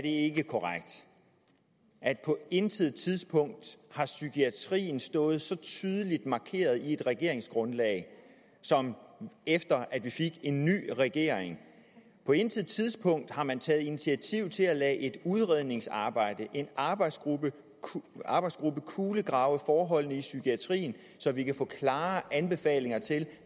ikke korrekt at på intet tidspunkt har psykiatrien stået så tydeligt markeret i et regeringsgrundlag som efter vi fik en ny regering på intet tidspunkt har man taget initiativ til at lade et udredningsarbejde en arbejdsgruppe arbejdsgruppe kulegrave forholdene i psykiatrien så vi kan få klare anbefalinger til